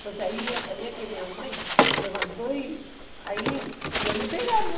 Então, aí eu já sabia que minha mãe levantou e aí ia me pegar, né?